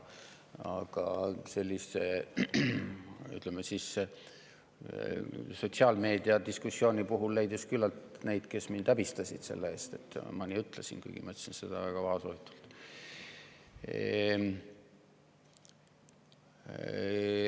Aga, ütleme, sotsiaalmeedias leidus küllalt neid, kes mind häbistasid selle eest, et ma nii ütlesin, kuigi ma ütlesin seda väga vaoshoitult.